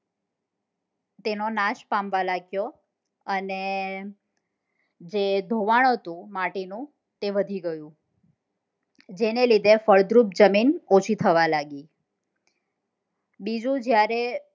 તેનો નાશ પામવા લાગ્યો અને જે ધોવાણ હતું માટી નું તે વધી ગયું જેને લીધે ફળદ્રુપ જમીન ઓછી થવા લાગી બીજું જયારે